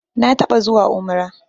Na taɓa zuwa umrah